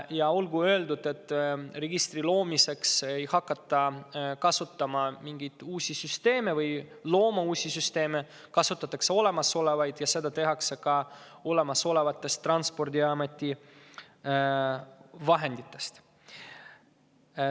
Ja olgu öeldud, et registri loomiseks ei hakata looma uusi süsteeme, vaid kasutatakse olemasolevaid, ja seda kõike tehakse Transpordiameti olemasolevatest vahenditest.